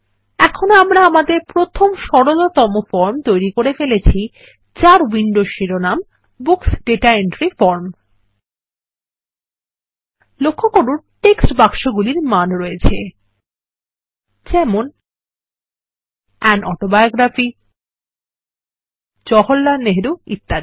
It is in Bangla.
এখন আমরা আমাদের প্রথম সরলতম ফর্ম তৈরী করে ফেলেছি যার উইন্ডোর শিরোনাম বুকস দাতা এন্ট্রি ফর্ম লক্ষ্য করুন টেক্সট বাক্সগুলির মান রয়েছে যেমন আন অটোবায়োগ্রাফি জওহরলাল নেহেরু ইত্যাদি